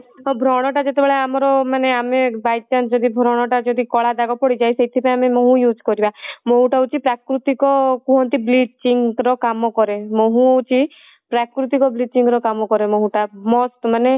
ବ୍ରଣ ଟା ଯେତେବେଳେ ଆମର ମାନେ ଆମେ by chance ଯଦି ବ୍ରଣ ଟା କଳା ଦାଗ ପଡ଼ିଯାଏ ସେଥିପାଇଁ ଆମେ ମହୁ use କରିବା ମହୁ ଟା ହଉଚି ପ୍ରକୃତିକ କୁହନ୍ତି bleaching ର କାମ କରେ ମହୁ ହଉଚି ପ୍ରକୃତିକ କାମ bleaching କରେ ମସ୍ତ ମାନେ